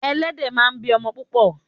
Ẹlẹ́dẹ̀ máa ń bí o̩mo̩ púpò̩.